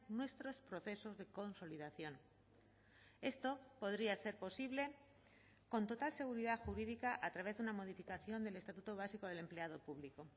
nuestros procesos de consolidación esto podría ser posible con total seguridad jurídica a través de una modificación del estatuto básico del empleado público